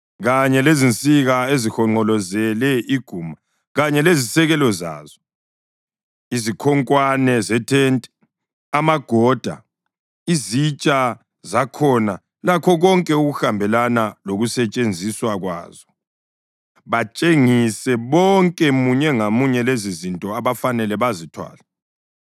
kanye lezinsika ezihonqolozele iguma kanye lezisekelo zazo, izikhonkwane zethente, amagoda, izitsha zakhona lakho konke okuhambelana lokusetshenziswa kwazo. Batshengise bonke munye ngamunye lezozinto abafanele bazithwale.